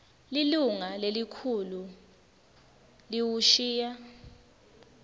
lilunga lelikhulu liwushiya